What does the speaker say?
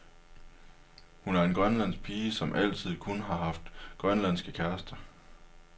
Hun er en grønlandsk pige, som altid kun har haft grønlandske kærester.